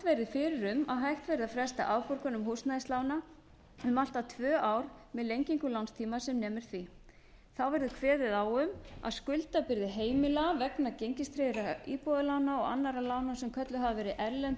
um að hægt verði að fresta afborgunum húsnæðislána um allt að tvö ár með lengingu lánstíma sem nemur því þá verði kveðið á um að skuldabyrði heimila vegna gengistryggðra íbúðalána og annarra lána sem kölluð hafa verið erlend